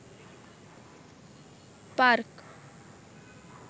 park